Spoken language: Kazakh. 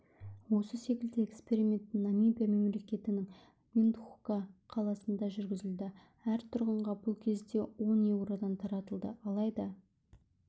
осы секілді эксперимент намибия мемлекетінің виндхука қаласында жүргізілді әр тұрғынға бұл кезде он еуродан таратылды алайда